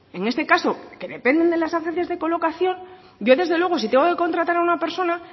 en este caso que dependen de las agencias de colocación yo desde luego si tengo que contratar a una persona